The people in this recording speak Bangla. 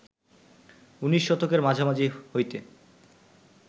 উনিশ শতকের মাঝামাঝি হইতে